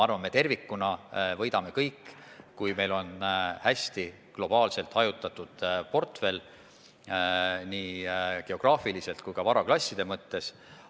Usun, et me tervikuna võidame kõik, kui meil on hästi globaalselt hajutatud portfell, seda nii geograafiliselt kui ka varaklasside mõttes.